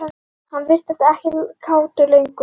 Hann virtist ekkert kátur lengur.